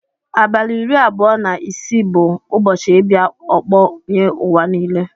Abali iri abụọ na isi bu ụbọsi ibia ọkpọ nye uwa nile.